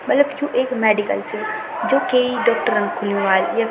मलब यु एक मेडिकल च जु की डॉक्टर ण खुल्युं वाल।